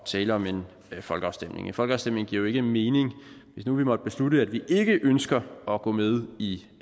tale om en folkeafstemning en folkeafstemning giver jo ikke mening hvis nu vi måtte beslutte at vi ikke ønsker at gå med i